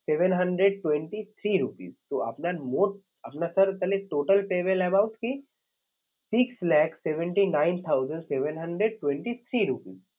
Seven hundred twenty three rupees তো আপনার মোট আপনার sir তাহলে total payable amount কি six lakhs seventy nine thousand seven hundred twenty three rupees